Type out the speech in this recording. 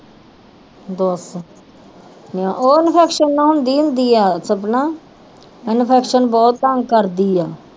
ਦੱਸ ਨਾ ਉਹ infection ਨਾਲ ਹੁੰਦੀ ਹੁੰਦੀ ਆ ਸਪਨਾ infection ਬਹੁਤ ਤੰਗ ਕਰਦੀ ਆ